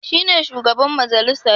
Shi ne shugaban majalisar.